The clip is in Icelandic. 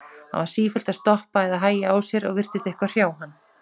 Hann var sífellt að stoppa eða hægja á sér og virtist eitthvað hrjá hann.